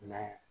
I m'a ye